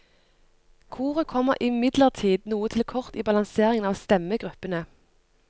Koret kommer imidlertid noe til kort i balanseringen av stemmegruppene.